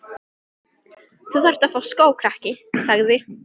Þú þarft að fá skó, krakki sagði